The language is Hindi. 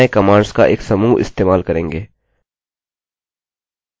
इसके अंदर हम पूरे नये कमांड्स का एक समूह इस्तेमाल करेंगे